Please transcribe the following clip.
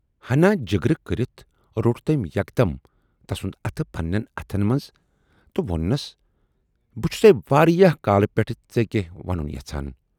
ہَنا جِگر کٔرِتھ روٹ تمٔۍ یکدم تسُند اَتھٕ پنہٕ نٮ۪ن اَتھن منز تہٕ ووننَس بہٕ چھُسے واریاہ کالہٕ پٮ۪ٹھٕ ژے کینہہ وَنُن یَژھان